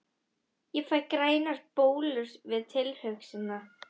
Ég fæ grænar bólur við tilhugsunina!